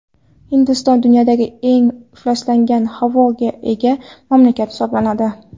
Hindiston dunyodagi eng ifloslangan havoga ega mamlakat hisoblanadi.